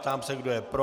Ptám se, kdo je pro.